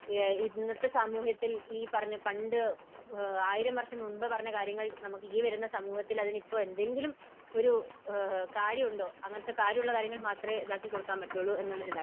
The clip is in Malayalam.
ഇന്നത്തെ സാമൂഹത്തിൽ ഈ പറഞ്ഞ, പണ്ട് ആയിരം വർഷം മുമ്പ് പറഞ്ഞ കാര്യങ്ങൾ ഈ വരുന്ന സമൂഹത്തിൽ അതിനിപ്പോൾ എന്തെങ്കിലും ഒരു കാര്യമുണ്ടോ? അങ്ങനെ അങ്ങനത്തെ കാര്യം ഉള്ള കാര്യങ്ങൾ മാത്രമേ ഇത് ആക്കി കൊടുക്കാൻ പറ്റുകയുള്ളൂ എന്നുള്ള ഒരു ഇതാണ്